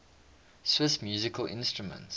swiss musical instruments